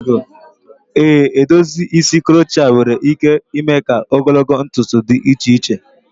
Ee, edozi isi crochet nwere ike ime ka ogologo ntutu dị iche iche.